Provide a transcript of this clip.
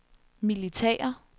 militære